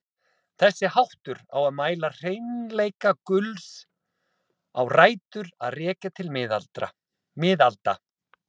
Þessi háttur á að mæla hreinleika gulls á rætur að rekja til miðalda.